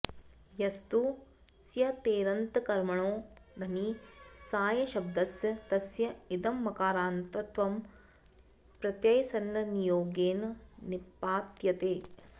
यस्तु स्यतेरन्तकर्मणो घञि सायशब्दस् तस्य इदं मकारान्तत्वं प्रत्ययसन्नियोगेन निपात्यते